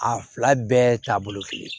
A fila bɛɛ taabolo kelen